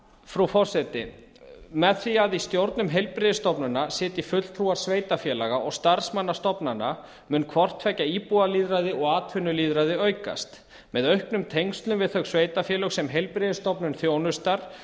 frú forseti með því að í stjórnum heilbrigðisstofnana sitji fulltrúar sveitarfélaga og starfsmanna stofnana mun hvort tveggja íbúalýðræði og atvinnulýðræði aukast með auknum tengslum við þau sveitarfélög sem heilbrigðisstofnun þjónustar